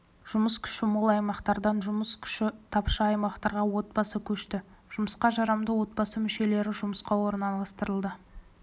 жұмыс күші мол аймақтардан жұмыс күші тапшы аймақтарға отбасы көшті жұмысқа жарамды отбасы мүшелерінің жұмысқа орналастырылды